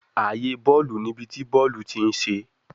Aaye bọọlu ni ibi ti bọọlu ti n ṣe